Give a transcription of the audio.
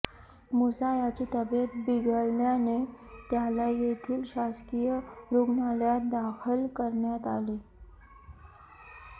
मुसा याची तब्येत बिघडल्याने त्याला येथील शासकीय रूग्णालयात दाखल करण्यात आले